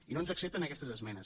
i no ens accepten aquestes esmenes